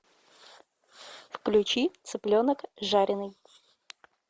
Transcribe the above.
включи цыпленок жареный